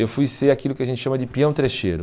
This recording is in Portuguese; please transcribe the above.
Eu fui ser aquilo que a gente chama de peão trecheiro.